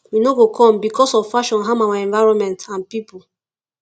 we no go come becos of fashion harm our environment and pipo